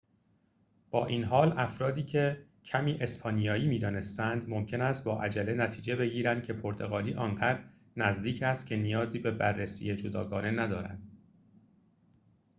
با این حال افرادیکه کمی اسپانیایی می‌دانستند ممکن است با عجله نتیجه بگیرند که پرتغالی آنقدر نزدیک است که نیازی به بررسی جداگانه ندارد